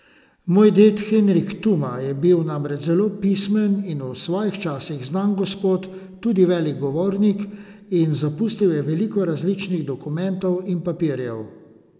Moj ded Henrik Tuma je bil namreč zelo pismen in v svojih časih znan gospod, tudi velik govornik, in zapustil je veliko različnih dokumentov in papirjev.